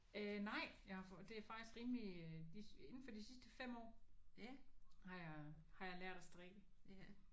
Øh nej. Jeg har for det er faktisk rimeligt de inde for de sidste 5 år har jeg har jeg lært at strikke